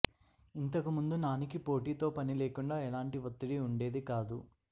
ఇంతకుముందు నానికి పోటీతో పని లేకుండా ఎలాంటి ఒత్తిడి వుండేది కాదు